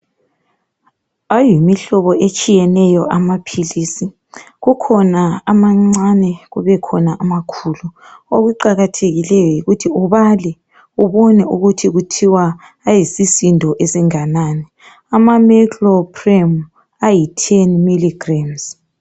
Ayimihlobo etshiyeneyo amaphilisi, kukhona amancane kubekhona amakhulu okuqakathekileyo yikuthi ubale ubone ukuthi kuthiwa ayisisindo esinganani ama meclopram ayi teni milligrams.